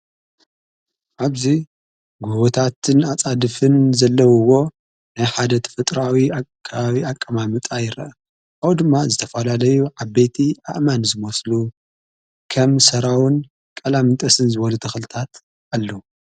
ኣብዙይ ጕወታትን ኣፃድፍን ዘለዉዎ ናይ ሓደቲ ፍጥራዊ ኣካባባዊ ኣቀማሚጣይረዐ ኣው ድማ ዝተፈላለዩ ዓበቲ ኣእማን ዝመስሉ ከም ሰራውን ቃላምንጠስን ዝበኑ ተኽልታት ኣለዉ።